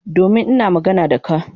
Domin ina magana da ka.